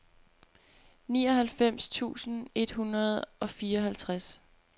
nioghalvfems tusind et hundrede og fireoghalvtreds